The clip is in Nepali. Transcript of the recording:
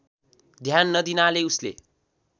ध्यान नदिनाले उसले